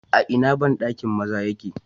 A ina bandakin maza yake?